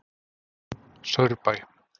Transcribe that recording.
Saurbæ